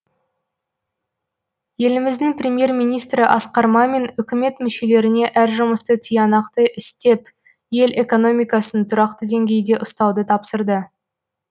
еліміздің премьер министрі асқар мамин үкімет мүшелеріне әр жұмысты тиянақты істеп ел экономикасын тұрақты деңгейде ұстауды тапсырды